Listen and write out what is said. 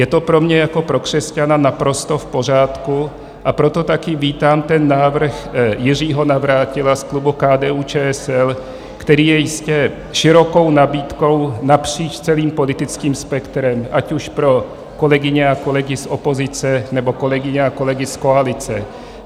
Je to pro mě jako pro křesťana naprosto v pořádku, a proto taky vítám ten návrh Jiřího Navrátila z klubu KDU-ČSL, který je jistě širokou nabídkou napříč celým politickým spektrem, ať už pro kolegyně a kolegy z opozice, nebo kolegyně a kolegy z koalice.